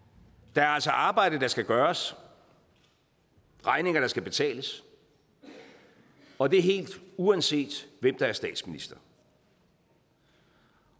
der er altså arbejde der skal gøres regninger der skal betales og det helt uanset hvem der er statsminister